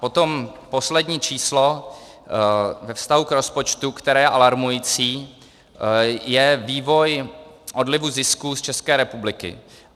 Potom poslední číslo ve vztahu k rozpočtu, které je alarmující, je vývoj odlivu zisků z České republiky.